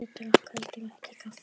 Ég drakk heldur ekki kaffi.